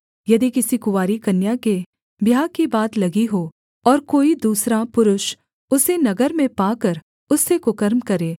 यदि किसी कुँवारी कन्या के ब्याह की बात लगी हो और कोई दूसरा पुरुष उसे नगर में पाकर उससे कुकर्म करे